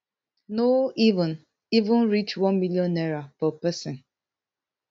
no even even reach one million naira per pesin